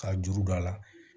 K'a juru don a la